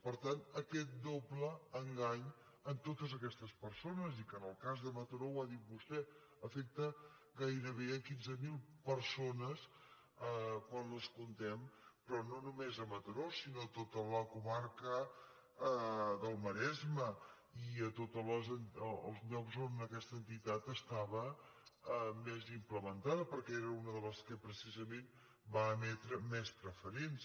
per tant aquest doble engany a totes aquestes persones i que en el cas de mataró ho ha dit vostè afecta gairebé quinze mil persones quan les comptem però no només a mataró sinó a tota la comarca del maresme i a tots els llocs on aquesta entitat estava més implementada perquè era una de les que precisament va emetre més preferents